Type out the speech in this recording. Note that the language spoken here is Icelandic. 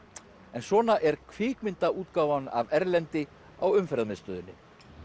en svona er af Erlendi á Umferðarmiðstöðinni